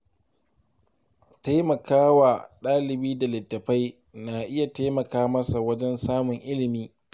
Taimaka wa ɗalibi da littattafai na iya taimaka masa wajen samun ilimi.